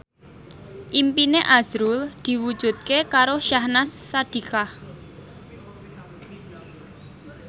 impine azrul diwujudke karo Syahnaz Sadiqah